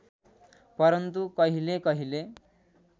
परन्तु कहिले कहिले